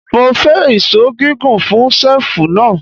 Mo fẹ́ ìṣó gígùn fún ṣẹ́ẹ̀fù náà.